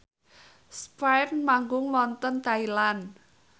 spyair manggung wonten Thailand